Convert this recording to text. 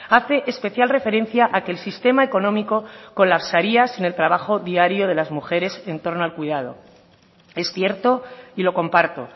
hace especial referencia a que el sistema económico colapsaría sin el trabajo diario de las mujeres en torno al cuidado es cierto y lo comparto